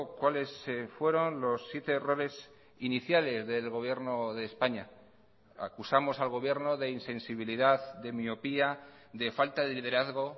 cuáles fueron los siete errores iniciales del gobierno de españa acusamos al gobierno de insensibilidad de miopía de falta de liderazgo